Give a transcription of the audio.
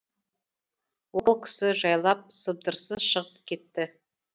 ол кісі жайлап сыбдырсыз шығып кетті